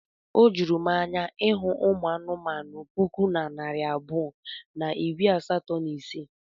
Ọ juru m anya ịhụ ụmụ anụmanụ puku na narị abụọ na iri asatọ na ise.